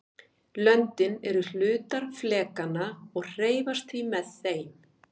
löndin eru hlutar flekanna og hreyfast því með þeim